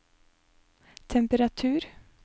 temperatur